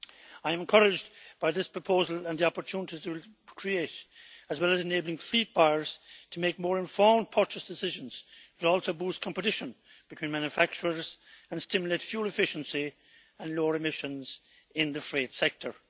I am encouraged by this proposal and the opportunities it will create, as well as enabling fleet buyers to make more informed purchase decisions in order to boost competition between manufacturers and stimulate fuel efficiency and lower emissions in the freight sector.